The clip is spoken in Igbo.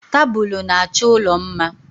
Tabulu na-achọ ụlọ mma